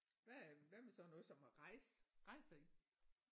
Hvad hvad med sådan noget som at rejse rejser I?